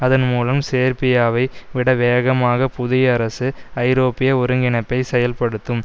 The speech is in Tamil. அதன்மூலம் சேர்பியாவை விட வேகமாக புதிய அரசு ஐரோப்பிய ஒருங்கிணைப்பை செயல்படுத்தும்